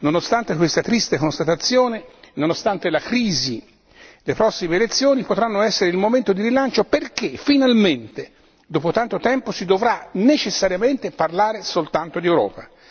Nonostante questa triste constatazione, nonostante la crisi, le prossime elezioni potranno essere il momento di rilancio perché finalmente dopo tanto tempo si dovrà necessariamente parlare soltanto di Europa.